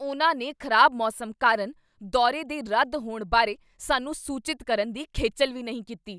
ਉਨ੍ਹਾਂ ਨੇ ਖ਼ਰਾਬ ਮੌਸਮ ਕਾਰਨ ਦੌਰੇ ਦੇ ਰੱਦ ਹੋਣ ਬਾਰੇ ਸਾਨੂੰ ਸੂਚਿਤ ਕਰਨ ਦੀ ਖੇਚਲ਼ ਵੀ ਨਹੀਂ ਕੀਤੀ।